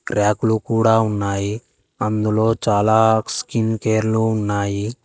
ర్యాకులు కూడా ఉన్నాయి అందులో చాలా స్కిన్ కేర్ లో ఉన్నాయి.